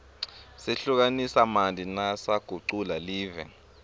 sehlukanisamanti lasagucula live